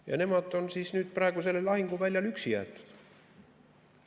Ja nemad on praegu sellel lahinguväljal üksi jäetud.